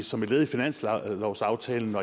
som et led i finanslovsaftalen